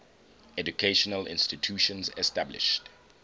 educational institutions established